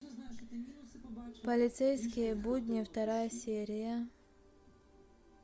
полицейские будни вторая серия